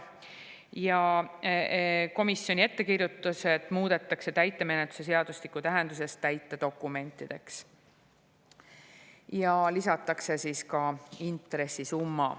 Ja komisjoni ettekirjutused muudetakse täitemenetluse seadustiku tähenduses täitedokumentideks ja lisatakse ka intressi summa.